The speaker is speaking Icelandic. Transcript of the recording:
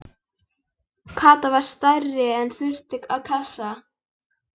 Kata var stærri og þurfti ekki kassa.